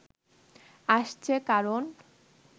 আসছে, কারণ